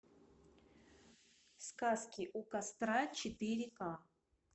сказки у костра четыре ка